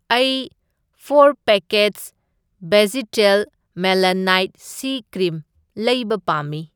ꯑꯩ for packets ꯕꯦꯖꯤꯇꯦꯜ ꯃꯦꯂꯥꯅꯥꯏꯠ ꯁꯤ ꯀ꯭ꯔꯤꯝ ꯂꯩꯕ ꯄꯥꯝꯃꯤ꯫